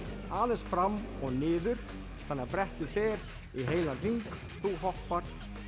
aðeins fram og niður þannig að brettið fer í heilan hring þú hoppar